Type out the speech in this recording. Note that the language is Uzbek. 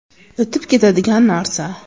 O‘tib ketadigan narsa.